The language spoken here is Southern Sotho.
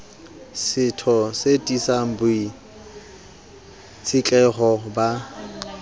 setho e tiisang boitshetleho ba